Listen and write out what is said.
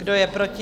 Kdo je proti?